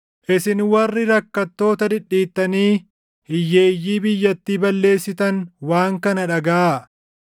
Isin warri rakkattoota dhidhiittanii hiyyeeyyii biyyattii balleessitan waan kana dhagaʼaa;